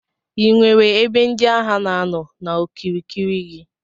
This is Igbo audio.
Inwere ebe ndi agha na anọ n'okirikiri gi.